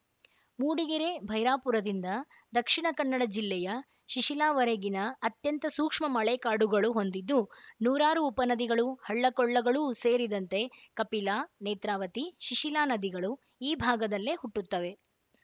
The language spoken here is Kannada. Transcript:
ಮೂಡಿಗೆರೆಯ ಭೈರಾಪುರದಿಂದ ದಕ್ಷಿಣ ಕನ್ನಡ ಜಿಲ್ಲೆಯ ಶಿಶಿಲಾವರೆಗಿನ ಅತ್ಯಂತ ಸೂಕ್ಷ್ಮ ಮಳೆಕಾಡುಗಳು ಹೊಂದಿದ್ದು ನೂರಾರು ಉಪನದಿಗಳು ಹಳ್ಳಕೊಳ್ಳಗಳೂ ಸೇರಿದಂತೆ ಕಫಿಲಾ ನೇತ್ರಾವತಿ ಶಿಶಿಲಾ ನದಿಗಳು ಈ ಭಾಗದಲ್ಲೇ ಹುಟ್ಟುತ್ತವೆ